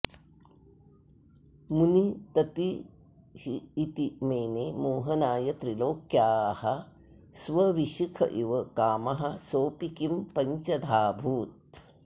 मुनिततिरिति मेने मोहनाय त्रिलोक्याः स्वविशिख इव कामः सोऽपि किं पञ्चधाऽभूत्